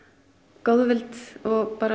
góðvild og